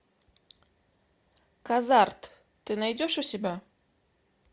казарт ты найдешь у себя